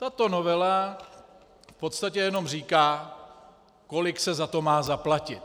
Tato novela v podstatě jenom říká, kolik se za to má zaplatit.